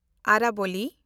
ᱟᱨᱟᱵᱚᱞᱤ